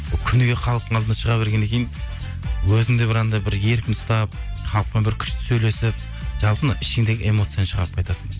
күніге халықтың алдына шыға бергеннен кейін өзіңді бір анандай бір еркін ұстап халықпен бір күшті сөйлесіп жалпы мынау ішіңдегі эмоцияны шығарып қайтасың